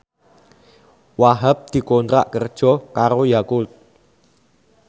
Wahhab dikontrak kerja karo Yakult